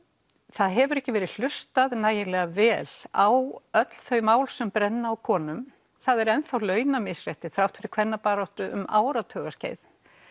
það hefur ekki verið hlustað nægilega vel á öll þau mál sem brenna á konum það er ennþá launamisrétti þrátt fyrir kvennabaráttu um áratuga skeið